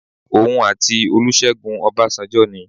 Òun àti Olúṣẹ́gun Ọbásanjọ́ ni.